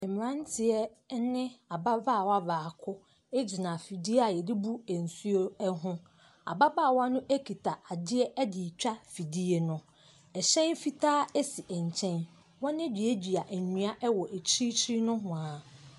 Mmeranteɛ ne ababaawa baako gyina afidie a wɔde bu nsuo ho. Ababaawa no kita adeɛ de retwa afidie no. hyɛn fitaa si nkyɛn. Wɔaduadua nnua wɔ akyirikyiri nohoa.